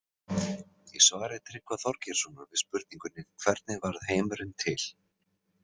Í svari Tryggva Þorgeirssonar við spurningunni Hvernig varð heimurinn til?